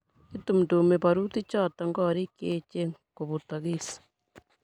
itumtumi barutichoto korik che echen kobutokis